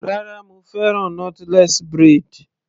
Rárá mo fẹ́ràn knotless braid.